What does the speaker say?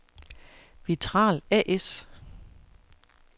Vitral A/S